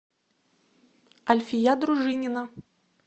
альфия дружинина